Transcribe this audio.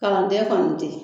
Kalandɛ kɔni tɛ.